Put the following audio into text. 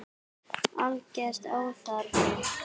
Alger óþarfi.